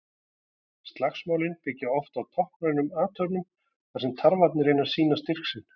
Slagsmálin byggja oft á táknrænum athöfnum þar sem tarfarnir reyna að sýna styrk sinn.